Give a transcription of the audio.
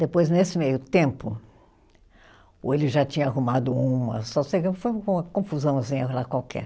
Depois, nesse meio tempo, ou ele já tinha arrumado uma, só sei que foi uma confusãozinha lá qualquer.